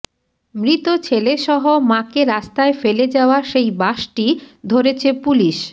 মৃত ছেলেসহ মাকে রাস্তায় ফেলে যাওয়া সেই বাসটি ধরেছে পুলিশ